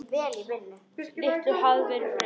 Litlu hafði verið breytt.